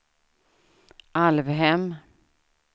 Alvhem